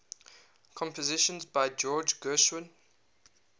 compositions by george gershwin